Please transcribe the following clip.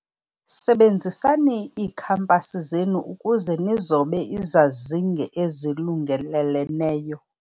Sebenzisani iikhampasi zenu ukuze nizobe izazinge ezilungeleleneyo.